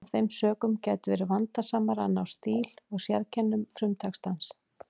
Af þeim sökum gæti verið vandasamara að ná stíl og sérkennum frumtextans.